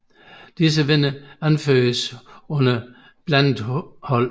Disse vindere anføres under Blandet Hold